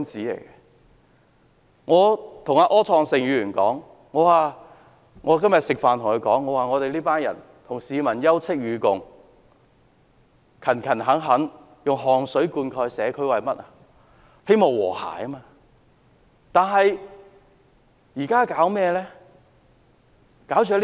今天與柯創盛議員共膳時，我說我們與市民休戚與共，並勤懇地以汗水灌溉社區，無非是為了和諧。